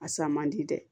A san man di dɛ